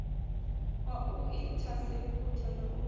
wa u inthaseputha na u